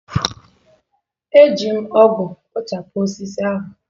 Eji m ọgụ kpochapụ osisi ahụ.